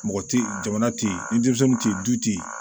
Mɔgɔ tɛ ye jamana tɛ yen denmisɛnninw tɛ yen du tɛ yen